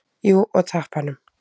Jú, og tappanum.